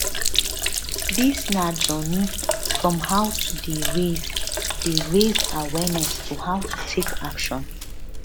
dis na journey from how to dey raise dey raise awareness to how to take action